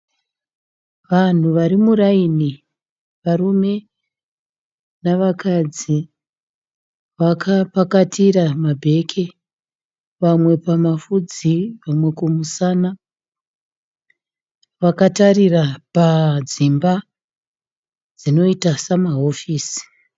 Vanhu vari muraini. Varume navakadzi vakapakatira mabheki vamwe pamafudzi vamwe kumusana. Vakatarira padzimba dzinoita samahofisi.